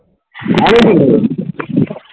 অনেকদিন